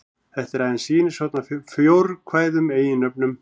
Þetta er aðeins sýnishorn af fjórkvæðum eiginnöfnum.